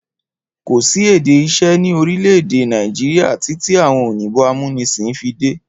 Kò sí èdè iṣẹ́ ni orílẹ̀-èdè Nàìjíríà títí àwọn òyìnbó amúnisìn fi dé.